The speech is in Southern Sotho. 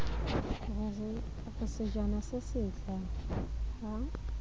re sejana se setle ha